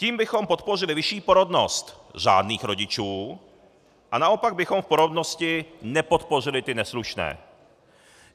Tím bychom podpořili vyšší porodnost řádných rodičů a naopak bychom v porodnosti nepodpořili ty neslušné.